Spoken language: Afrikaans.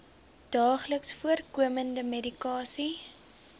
daagliks voorkomende medikasie